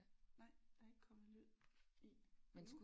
Nej der er ikke kommet lyd i endnu